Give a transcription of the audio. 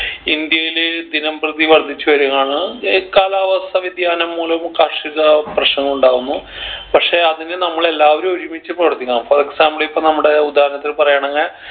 ഇന്ത്യയില് ദിനം പ്രതി വർധിച്ചു വരുവാണ് ഈ കാലാവസ്ഥ വ്യതിയാനം മൂലം കാർഷിക പ്രശ്നങ്ങൾ ഉണ്ടാകുന്നു പക്ഷെ അതിന് നമ്മൾ എല്ലാവരും ഒരുമിച്ച് പൊരുതണം for example ഇപ്പൊ നമ്മുടെ ഉദാഹരണത്തിന് പറയാണെങ്